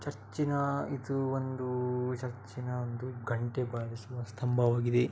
ಚರ್ಚಿನ ಇದು ಒಂದು ಚರ್ಚಿನ ಒಂದು ಗಂಟೆ ಬಾರಿಸುವ ಸ್ತಂಭವಾಗಿದೆ .